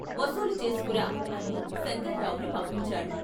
వసూలు చేసుకురా అని శంకర్రావుని పంపించాడు.